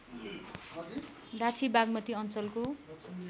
डाँछी बाग्मती अञ्चलको